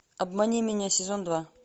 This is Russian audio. обмани меня сезон два